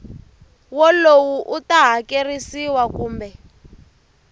wolowo u ta hakerisiwa kumbe